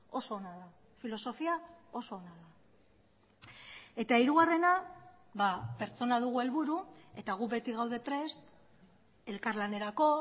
oso ona da filosofia oso ona da eta hirugarrena pertsona dugu helburu eta gu beti gaude prest elkarlanerako